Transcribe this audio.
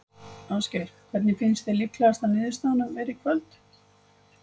Ásgeir: Hver finnst þér líklegasta niðurstaðan vera í kvöld?